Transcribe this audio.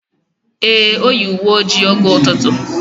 Ee, Oyi uwe ojii oge ututu.